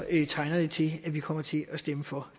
lige tegner det til at vi kommer til at stemme for